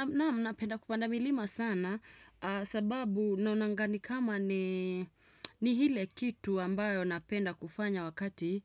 Naam napenda kupanda milima sana sababu naonanga kama ni ile kitu ambayo napenda kufanya wakati